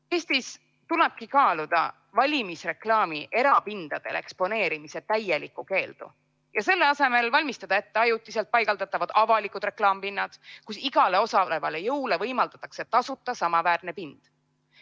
Eestis tulebki kaaluda valimisreklaami erapindadel eksponeerimise täielikku keeldu ja selle asemel valmistada ette ajutiselt paigaldatavad avalikud reklaamipinnad, kus igale osalevale jõule võimaldatakse tasuta samaväärne pind.